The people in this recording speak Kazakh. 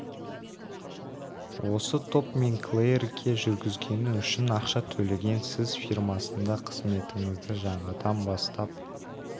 осы топ мен клэйрге жүргізгені үшін ақша төлеген сіз фирмасында қызметіңізді жаңадан бастап